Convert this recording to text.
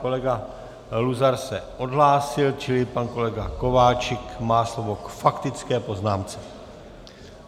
Kolega Luzar se odhlásil, čili pan kolega Kováčik má slovo k faktické poznámce.